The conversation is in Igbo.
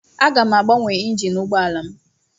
Aga m agbanwe injin ụgbọala m.